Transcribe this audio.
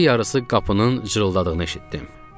Gecə yarısı qapının cırıldadığını eşitdim.